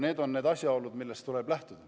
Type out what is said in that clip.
Need on need asjaolud, millest tuleb lähtuda.